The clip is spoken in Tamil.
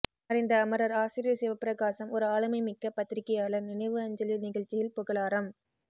மறைந்த அமரர் ஆசிரியர் சிவப்பிரகாசம் ஒரு ஆளுமைமிக்க பத்திரிகையாளர் நினைவு அஞ்சலி நிகழ்ச்சியில் புகழாரம்